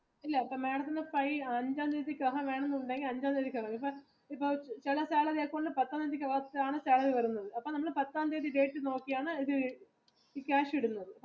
ഇല്ല ഇപ്പൊ madam ത്തിന് അഞ്ചാംതിക്കകം എന്നുണ്ടെങ്കിൽ അഞ്ചാം തിയതിക്ക് അടക്കണം ഇപ്പൊ ചില salary വരുന്നത് പത്താം തിയതി date നോക്കിയാണ് cash ഇടുന്നത്